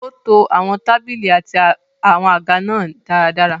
Ó to àwọn tábìlì àti àwọn àga náà dáradára.